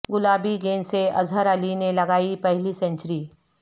گلابی گیند سے اظہر علی نے لگائی پہلی سنچری